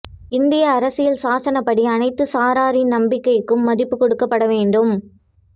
இந்திய அரசியல் சாசனப்படி அனைத்து சாராரின் நம்பிக்கைக்கும் மதிப்பு கொடுக்கப்பட வேண்டும்